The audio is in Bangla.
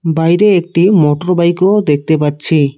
বাইরে একটি মোটর বাইক -ও দেখতে পাচ্ছি।